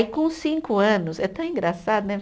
E com cinco anos, é tão engraçado, né?